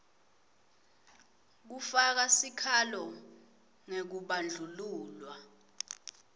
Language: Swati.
kufaka sikhalo ngekubandlululwa